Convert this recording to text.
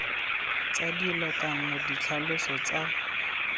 tsa dilo kana ditlhaloso tsa